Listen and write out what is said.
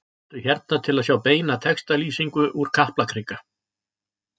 Smelltu hér til að sjá beina textalýsingu úr Kaplakrika